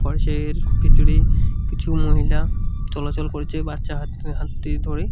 ফরেশের ভিতরে কিছু মহিলা চলাচল করছে বাচ্চা হাত হাতটি ধরে।